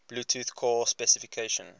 bluetooth core specification